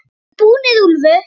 VIÐ ERUM BÚNIR, ÚLFUR!